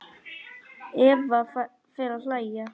Eva fer að hlæja.